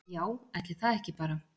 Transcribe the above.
Já ætli það ekki bara.